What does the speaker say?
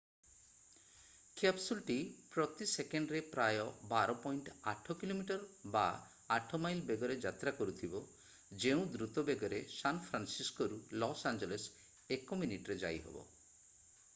କ୍ୟାପସୁଲ୍‌ଟି ପ୍ରତି ସେକେଣ୍ଡରେ ପ୍ରାୟ 12.8 କିଲୋମିଟର ବା 8 ମାଇଲ୍ ବେଗରେ ଯାତ୍ରା କରୁଥିବ ଯେଉଁ ଦ୍ରୁତ ବେଗରେ ସାନ୍ ଫ୍ରାନସିସ୍କୋରୁ ଲସ୍ ଆଞ୍ଜେଲସ୍ ଏକ ମିନିଟରେ ଯାଇହେବ।